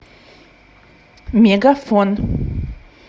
мегафон